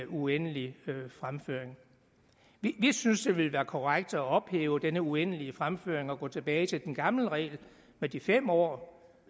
uendelig fremførsel vi synes det ville være korrekt at ophæve denne uendelige fremførsel og gå tilbage til den gamle regel med de fem år